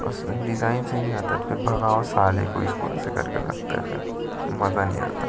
Design से नहीं आता भागो साले को अइसे करके लगता हैं मजा नहीं आता।